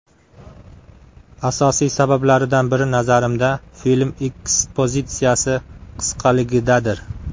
Asosiy sabablaridan biri, nazarimda, film ekspozitsiyasi qisqaligidadir.